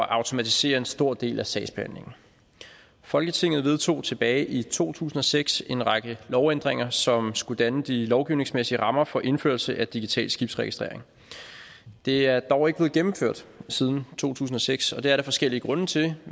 automatisere en stor del af sagsbehandlingen folketinget vedtog tilbage i to tusind og seks en række lovændringer som skulle danne de lovgivningsmæssige rammer for indførelse af digital skibsregistrering de er dog ikke blevet gennemført siden to tusind og seks og det er der forskellige grunde til